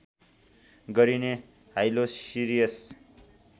गरिने हाइलोसिरियस